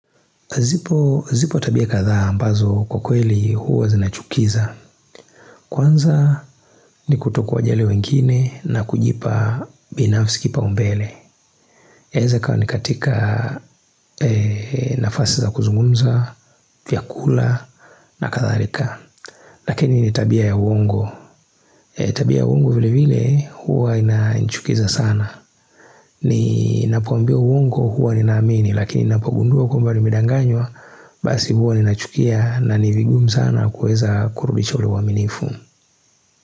Zipo tabia kadhaa ambazo kwa kweli huwa zinachukiza Kwanza ni kuto kuwajali wengine na kujipa binafsi kipa umbele yaweza kuwa ni katika nafasi za kuzungumza, vyakula na katharika Lakini ni tabia ya uongo Tabia ya uongo vile vile huwa inanichukiza sana ni napoambia uongo huwa ninaamini lakini napogundua kwamba nimedanganywa Basi huwa ninachukia na nivigumu sana kuweza kurudisha ule uaminifu.